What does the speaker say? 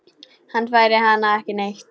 Hann fær hana ekki neitt!